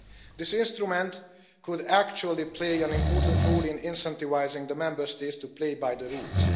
This instrument could actually play an important role in incentivising the Member States to play by the rules.